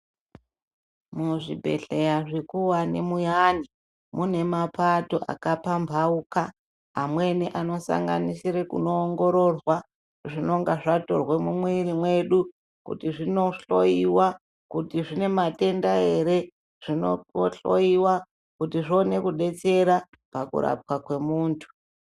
Muzvibhedhleya zvikuwani muyani, mune mapato akapambauka. Amweni anosanganisire kunoongororwa zvinonga zvatorwe mumwiri mwedu, kuti zvinohloyiwa, kuti zvine matenda ere. Zvinohloyiwa kuti zvione kudetsera pakurapwa kwemuntu.